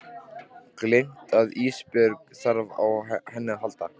Gleymt að Ísbjörg þarf á henni að halda.